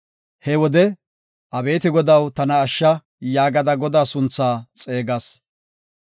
He wode, “Abeeti Godaw, tana ashsha” yaagada Godaa suntha xeegas.